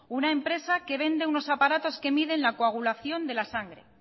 una empresa que vende unos aparatos que miden la coagulación de la sangre